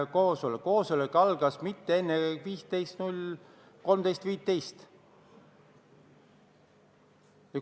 Koosolek algas mitte enne kui kell 13.15.